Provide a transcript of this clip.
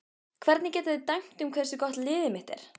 Hvernig geta þeir dæmt um hversu gott liðið mitt er?